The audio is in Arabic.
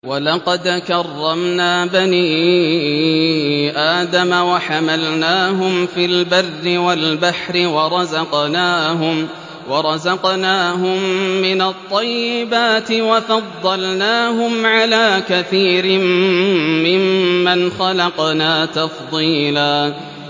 ۞ وَلَقَدْ كَرَّمْنَا بَنِي آدَمَ وَحَمَلْنَاهُمْ فِي الْبَرِّ وَالْبَحْرِ وَرَزَقْنَاهُم مِّنَ الطَّيِّبَاتِ وَفَضَّلْنَاهُمْ عَلَىٰ كَثِيرٍ مِّمَّنْ خَلَقْنَا تَفْضِيلًا